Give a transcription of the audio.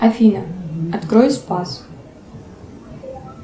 афина открой спас